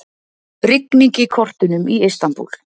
Rigning í kortunum í Istanbúl